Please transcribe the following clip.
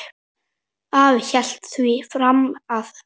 Afi hélt því fram að